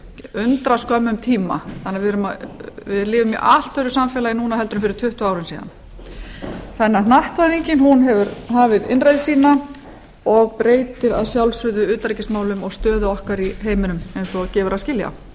undraskömmum tíma þannig að við lifum í allt öðru samfélagi núna heldur en fyrir tuttugu árum síðan hnattvæðingin hefur hafið innreið sína og breytir að sjálfsögðu utanríkismálum og stöðu okkar í heiminum eins og gefur að skilja